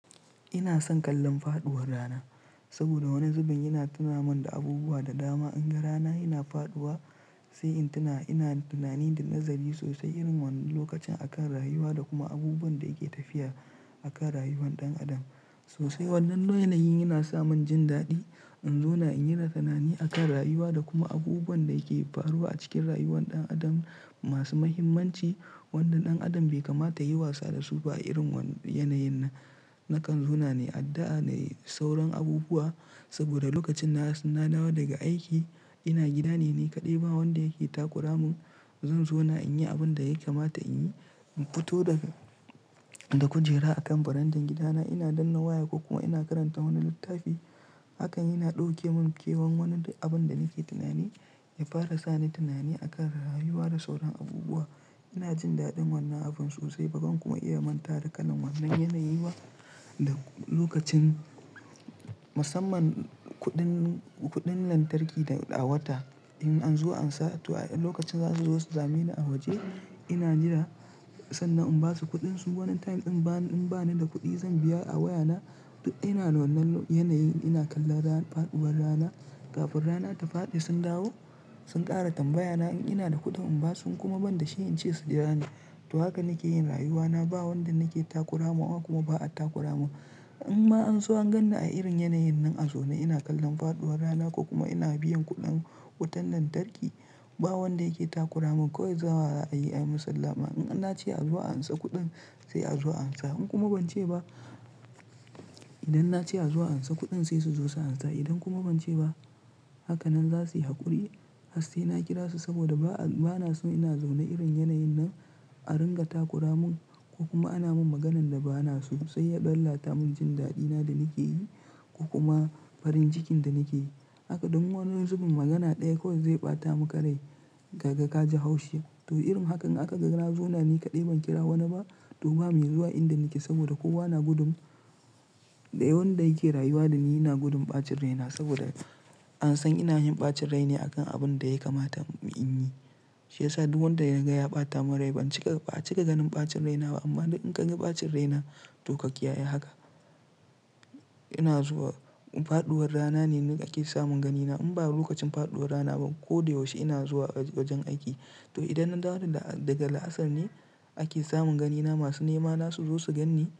Ina son kallon faɗuwar rana saboda wani zubin yana tunaminda abubuwa da dama. In ga rana yana faɗuwa sai in tuna ina tunani da nazari sosai irin wannan lokacin akan rayuwa da kuma abubuwan da yake tafiya akan rayuwar ɗan adam. Sosai wannan yanayin yana samin jin daɗi in zauna in ringa tunani akan rayuwa da kuma abubuwan da yake faruwa a cikin rayuwar ɗan adam masu mahimmanci wanda ɗan adam bai kamata yayi wasa dasu ba a irin wannan yanayin nan na kan zauna nayi addu'a nayi sauran abubuwa. Saboda lokacin na dawo daga aiki ina gida ne nikaɗai ba wanda yake takura mun. Zan zauna in yi abin da ya kamata in yi, in fito da kujera akan farandan gidana ina danna waya ko kuma ina karanta wani littafi. Hakan yana ɗauke mun kewan wani duk abun da nake tunani ya fara sani tunani akan rayuwa da sauran abubuwa. Ina jin daɗin wannan abun sosai bazan kuma iya manta da kalan wannan yanayi ba da lokacin musamman kuɗin, kuɗin lantarki a wata. In an zo an sa lokacin zasu zo su same ni a waje ina jira sannan in basu kuɗin su wani time in bani, in bani da kuɗi zan biya a wayana. Duk ina wannan yanayin ina kallon faɗuwar rana. Kafin rana ta faɗi sun dawo sun ƙara tambaya na in ina da kuɗin in basu in kuma ban da shi in ce su jira ni. To haka nake yin rayuwana ba wanda nake takura mawa kuma ba a takura mun. In ma an so an ganni a irin yanayin nan a zaune ina kallon faɗuwar rana ko kuma ina biyan kuɗin wutan lantarki ba wanda yake takura mun. Kowai zuwa za a yi ayi mun sallama. In na ce a zo a ansa kuɗin sai a zo a an sa in kuma ban ce ba, idan na ce a zo an sa kuɗin sai su zo su ansa idan kuma ban ce ba haka nan zasuyi haƙuri. Hasse na kira su saboda bana so ina zaune irin yanayin nan a ringa takura mun ko kuma ana mun maganan da bana so. Sai ya lalata mun jin daɗi na da nake yi ko kuma farin jicin da nake yi. Haka duk wani zubin magana ɗaya kawai zai ɓata muka rai kaga kaji haushi. To irin hakan in aka ga na zauna nikaɗai ban kira wanna ba. To ba mai zuwa inda nake saboda kowa na gudun da wanda yake rayuwa da ni. Ina gudun ɓacin rai na saboda an san ina yin ɓacin rai ne akan abun da ya kamata in yi. Shi yasa duk wanda yaga ya ɓata mun rai ba a cika, cika ganin ɓacin rai na ba. Amma duk in kaga ɓacin rai na to ka kiyaye haka. Ina zuwa faɗuwar rana ne ake samun ganina. In ba lokacin faɗuwar rana ba ko da yaushe ina zuwa wajen aiki. To idan na dawo daga la'asar ne ake samun ganina masu nema na su zo su ganni.